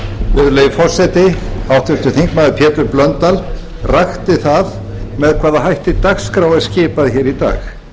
virðulegi forseti háttvirtur þingmaður pétur blöndal rakti með hvaða hætti dagskrá er skipað hér í dag